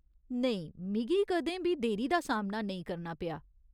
नेईं, मिगी कदें बी देरी दा सामना नेईं करना पेआ।